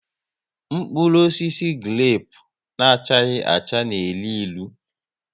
Mkpụrụ osisi grepu na achaghi acha n'elu ịlụ